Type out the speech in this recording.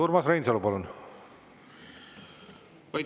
Urmas Reinsalu, palun!